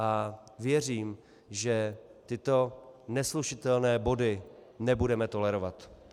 A věřím, že tyto neslučitelné body nebudeme tolerovat.